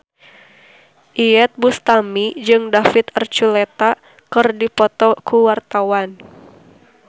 Iyeth Bustami jeung David Archuletta keur dipoto ku wartawan